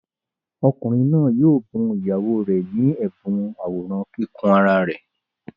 Ọkùnrin náà yóò bu ìyàwó rẹ̀ ní ẹ̀bùn àwòrán kíkùn ara rẹ̀.